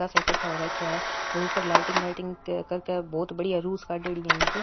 इक्कठा हो राखया है कादेड़ी है इनकी।